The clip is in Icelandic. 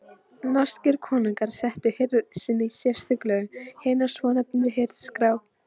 Norskir konungar settu hirð sinni sérstök lög, hina svonefndu Hirðskrá.